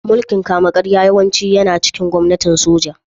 Mulkin kama-karya yawanci yana cikin gwamnatin soja